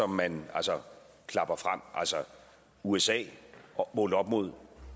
man klapper frem altså usa er målt op imod